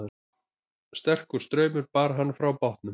Sterkur straumur bar hann frá bátnum